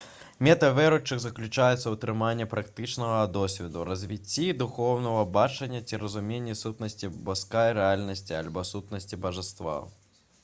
мэта веруючых заключаецца ў атрыманні практычнага досведу развіцці духоўнага бачання ці разуменні сутнасці боскай рэальнасці альбо сутнасці бажаства